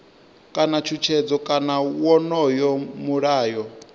kana tshutshedzo kana wonoyo mulayo